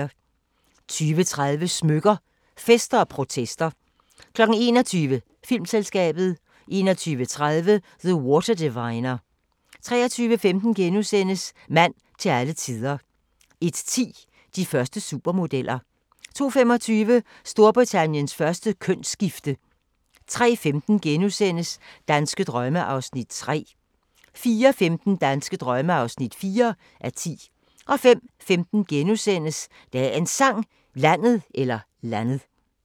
20:30: Smykker – Fester & protester 21:00: Filmselskabet 21:30: The Water Diviner 23:15: Mand til alle tider * 01:10: De første supermodeller 02:25: Storbritanniens første kønsskifte 03:15: Danske drømme (3:10)* 04:15: Danske drømme (4:10) 05:15: Dagens Sang: Landet *